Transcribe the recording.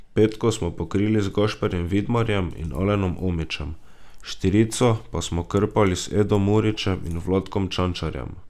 Petko smo pokrili z Gašperjem Vidmarjem in Alenom Omićem, štirico pa smo krpali z Edom Murićem in Vlatkom Čančarjem.